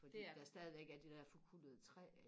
fordi der stadigvæk er det der forkullede træ